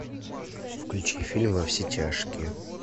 включи фильм во все тяжкие